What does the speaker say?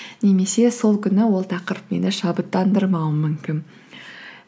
немесе сол күні ол тақырып мені шабыттандырмауы мүмкін